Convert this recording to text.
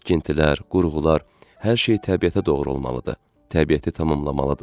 Tikintilər, qurğular, hər şey təbiətə doğru olmalıdır, təbiəti tamamlamalıdır.